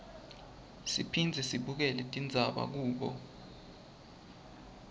siphindze sibukele tindzaba kubo